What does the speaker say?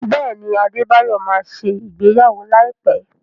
Bẹẹni, adebayọ má ṣe ìgbéyàwó láìpé